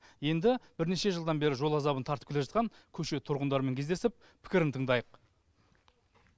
енді бірнеше жылдан бері жол азабын тартып келе жатқан көше тұрғындарымен кездесіп пікірін тыңдайық